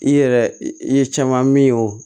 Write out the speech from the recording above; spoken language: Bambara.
I yɛrɛ i ye caman min y'o